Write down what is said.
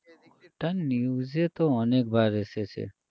এটা news এ তো অনেকবার এসেছে